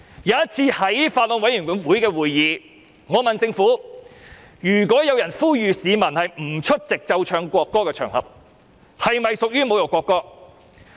我曾在法案委員會會議上詢問政府，如果有人呼籲市民不出席奏唱國歌的場合，是否屬於侮辱國歌？